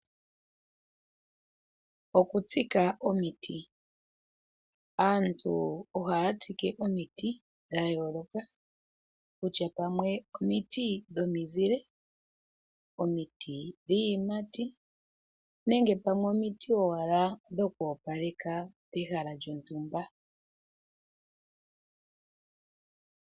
Okutsika omiti. Aantu ohaya tsike omiti dha yooloka kutya pamwe omiti dhomizile, omiti dhiiyimati nenge pamwe omiti owala dhoku opaleka ehala lyontumba.